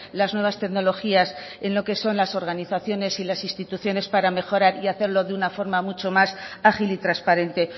las nuevas tecnologías en lo que son las organizaciones y las instituciones para mejorar y hacerlo de una forma mucho más ágil y transparente